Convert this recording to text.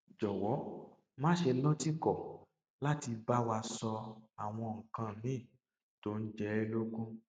jọwọ má ṣe lọtìkọ láti bá wa sọ àwọn nǹkan míì tó ń jẹ ẹ lógún